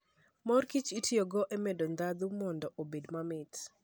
Mor kich itiyogo e medo ndhadhu mondo obed mamit